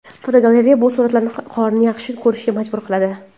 Fotogalereya: Bu suratlar qorni yaxshi ko‘rishga majbur qiladi!.